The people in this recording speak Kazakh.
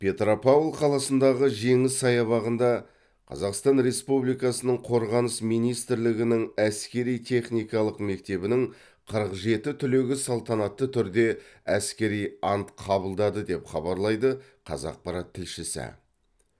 петропавл қаласындағы жеңіс саябағында қазақстан республикасының қорғаныс министрлігінің әскери техникалық мектебінің қырық жеті түлегі салтанатты түрде әскери ант қабылдады деп хабарлайды қазақпарат тілшісі